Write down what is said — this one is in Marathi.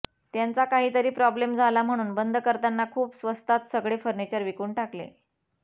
त्यांचा काहीतरी प्रॉब्लेम झाला म्हणून बंद करताना खूप स्वस्तात सगळे फर्निचर विकून टाकले